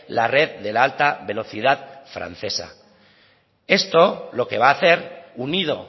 la red de la alta velocidad francesa esto lo que va a hacer unido